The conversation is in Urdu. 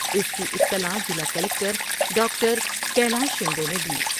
اس کی اطلاع ضلع کلکٹر ڈاکٹر کیلاش شندے نے دی ۔